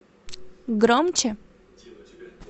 громче